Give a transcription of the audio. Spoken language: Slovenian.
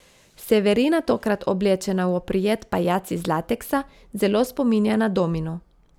Severina tokrat oblečena v oprijet pajac iz lateksa, zelo spominja na domino.